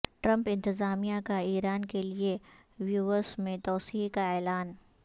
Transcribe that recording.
Trump انتظامیہ کا Iran کیلئے ویویئرز میں توسیع کا اعلان